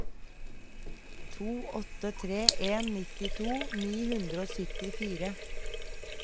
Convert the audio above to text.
to åtte tre en nittito ni hundre og syttifire